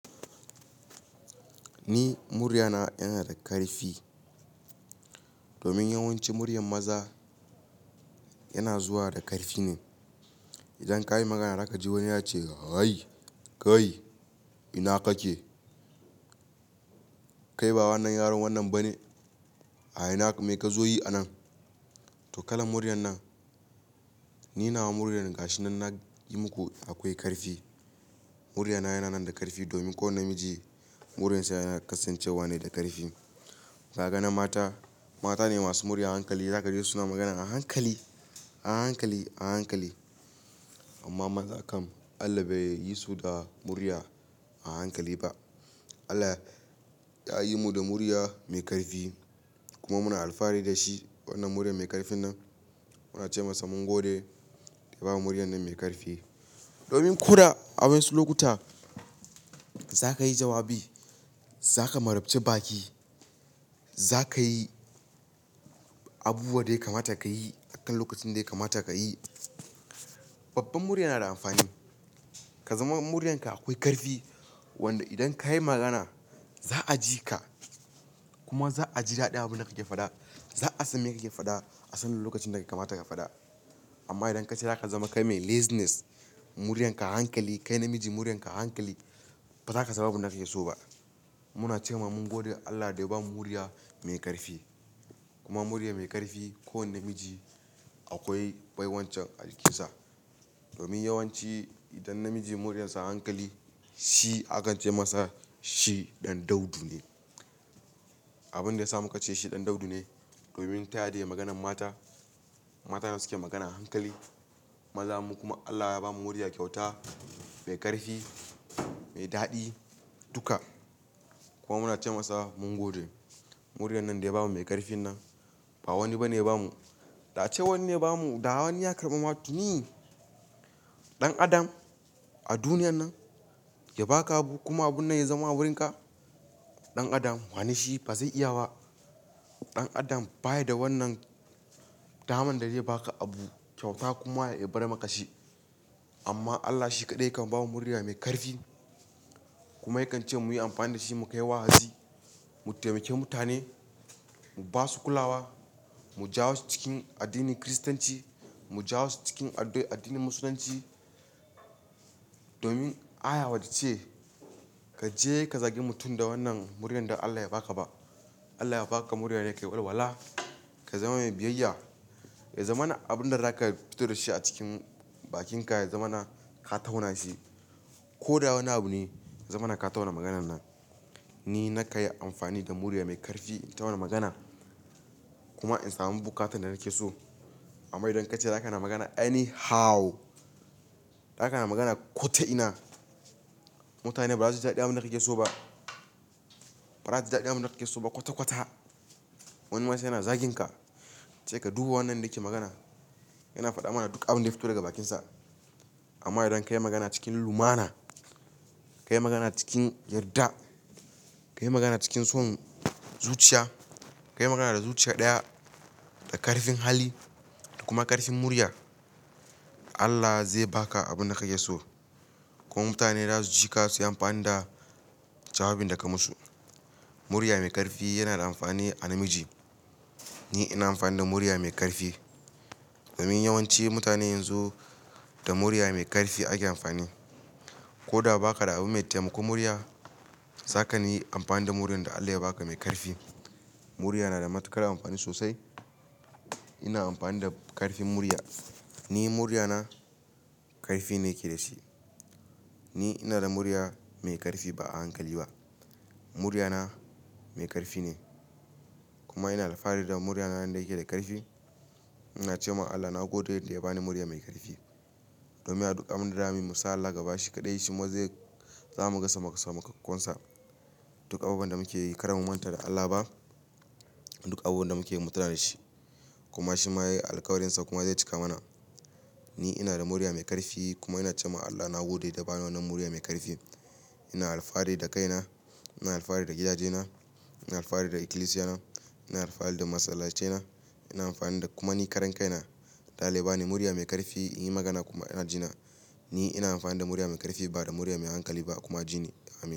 Ni murya na yana da ƙarfi. Domin yawanci murya maza yana zuwa da ƙarfi ne. Idan ka yi magana za ka ji wani yana cewa "Kai, ina kake? Kai ba wannan yaron wannan ba ne. A ina mi ka zo yi a nan?" To kalaa muryar nan. Ni nawa muryan ga shi nan na yi muku akwai ƙarfi. Muryar na yana nan da ƙarfi domin ko wane namiji muryansa yana kasancewa ne da ƙarfi. Za ka ga na mata. Mata ne masu murya a hankali. Za ka ji su suna magana a hankali, a hankali, a hankali. Amma mazan kam Allah bai yi su da murya a hankali ba. Allah ya yi mu da murya mai ƙarfi kuma muna alfahari da shi wannan murya mai ƙarfin nan. Muna ce masa mun gode ya ba mu murya mai ƙarfi. Domin koda a wasu lokuta za ka yi jawabi, za ka marabce baki, za ka yi abubuwan da ya kamata ka yi a kan lokacin da ya kamata ka yi. Babbar murya na da amfani. Ka zama muryanka akwai ƙarfi, wanda idan ka yi magana za a ji ka kuma za a ji daɗin abin da kake faɗa. Za a san me kake faɗa a sanin lokacin da ya kamata ka faɗa. Amma idan ka ce za ka zama kai mai laziness, muryarka a hankali, kai namiji muryarka a hankali, ba za ka samu abin da kake so ba. Muna ce ma mun gode Allah da ya bamu murya mai ƙarfi kuma murya mai ƙarfi ko wanne namiji akwai baiwancin alkansa. Domin yawanci idan namiji muryarsa a hankali, shi aka ce masa shi ɗan daudu ne. Abin da ya samu ka ce shi ɗan daudu ne. Domin ta yaya da maganan mata, mata ne suke magana a hankali. Maza mu kuma Allah ya bamu murya, kyauta mai ƙarfi, mai daɗi duka. Kuma muna ce masa mun gode. Muryar nan dai bamu mai ƙarfin nan ba wani ba ne ya bamu. Da ace wanne ya bamu da wani ya karɓa ma tuni, ɗan adam a duniyan nan ya baka abu kuma abun nan ya zama wurin ka, ɗan adam, wane shi ba zai iya ba. Ɗan adam baya da wannan daman da zai baka abu kyauta kuma ya bar maka shi. Amma Allah shi kaɗai yakan ba mu murya mai ƙarfi kuma yakan ce mu yi amfani da shi mu kai wa'azi, mu taimaki mutane, mu ba su kulawa, mu jawo su cikin addinin Kiristanci, mu jawo su cikin addinin Musulunci. Domin aya ba tace ka je ka zagi mutum da wannan muryar da Allah ya baka ba. Allah ya baka muryane dan ka walwala. Ka zama mai biyayya. Ya zama na abin da za ka fito da shi a cikin bakinka, ya zama na ka tauna shi. Ko da wane abu ne, ya zama na ka tauna maganan nan. Ni na ka yi amfani da murya mai ƙarfi in tauna magana kuma in samu bukatar da nake so. Amma idan ka ce za ka na magana any how, za ka na magana ko ta ina. Mutane ba za su ji daɗin abin da kake so ba. Ba za su ji daɗin abin da kake so ba kwata kwata. Wani ma sai yana zagin ka, ce ka dubi wannan yake magana. Yana faɗa mana duk abin da ya fito daga bakinsa. Amma idan ka yi magana cikin lumana, ka yi magana cikin yarda, ka yi magana cikin son zuciya, ka yi magana da zuciya ɗaya, da ƙarfin hali da kuma ƙarfin murya, Allah zai baka abin da kake so. Kuma mutane za su ji ka su yi amfani da jawabin da ka musu. Murya mai ƙarfi yana da amfani a namiji. Ni ina amfani da murya mai ƙarfi. Domin yawanci mutane yanzu da murya mai ƙarfi ake amfani. Ko da ba ka da abu mai taimako murya, za ka na yi amfani da muryan da Allah ya baka mai ƙarfi. Murya na da matuƙar amfani sosai. Ina amfani da ƙarfin murya. Ni muryana ƙarfi ne yake da shi. Ni ina da murya mai ƙarfi ba a hankali ba. Muryana mai ƙarfi ne kuma ina alfahari da muryana inda yake da ƙarfi. Ina ce ma Allah na godiya da yadda ya bani murya mai ƙarfi. Domin a duk abin da za mu yi, Musa Allah gaba shi kaɗai shi ma zai zamu gasa maka samakkakonsa. Duk abubuwan da muke yi kar mu manta da Allah ba. Duk abubuwan da muke yi mu tuna da shi. Kuma shi ma ya yi alƙawarinsa kuma ya cika mana. Ni ina da murya mai ƙarfi kuma ina ce ma Allah na gode da ya ba ni wannan murya mai ƙarfi. Ina alfahari da kaina, ina alfahari da gidajena, ina alfahari da ikilisiyana, ina alfahari da masallacina, ina amfani da kuma ni karan kaina. Ɗalibai ne murya mai ƙarfi in yi magana kuma ina jina. Ni ina amfani da murya mai ƙarfi ba da murya mai hankali ba kuma jini. Amin.